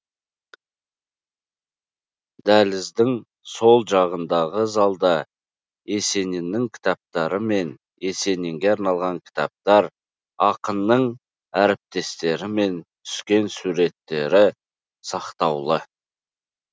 дәліздің сол жағындағы залда есениннің кітаптары мен есенинге арналған кітаптар ақынның әріптестерімен түскен фотосуреттері сақтаулы